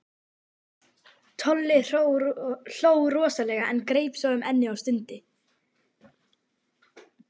Tolli hló rosalega en greip svo um ennið og stundi.